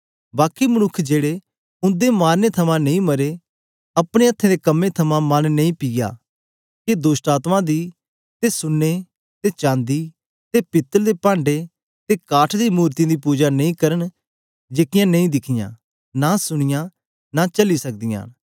बाकी मनुक्खें जेड़े ओनें मारीयै थमां नेई मरे न अपने हत्थें दे कम्में थमां मन नेई पिया के दोष्टआत्मायें दी ते सुन्ने ते चांदी ते पीतल ते पांड़े ते काठ दी मूरतीयें दी पुजा नेई करन जेकी नां दिखी नां सुनी नां चली सकदीयां न